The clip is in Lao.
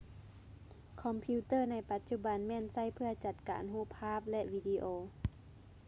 ຄອມພິວເຕີໃນປະຈຸບັນແມ່ນໃຊ້ເພຶ່ອຈັດການຮູບພາບ ແລະ ວີດີໂອ